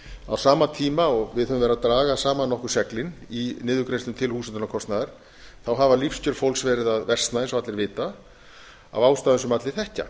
á sama tíma og við höfum verið að draga saman nokkur seglin í niðurgreiðslum til húshitunarkostnaðar þá hafa lífskjör fólks verið að versna eins og allir vita af ástæðum sem allir þekkja